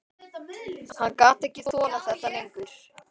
Hann gat ekki þolað þetta lengur.